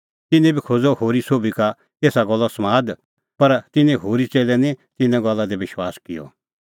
तिन्नैं बी खोज़अ होरी सोभी का एसा गल्लो समाद पर तिन्नैं होरी च़ेल्लै निं तिन्नें गल्ला दी बी विश्वास किअ